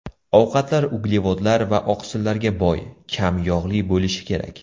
Ovqatlar uglevodlar va oqsillarga boy, kam yog‘li bo‘lishi kerak.